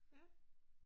Ja